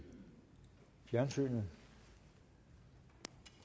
fjernsynet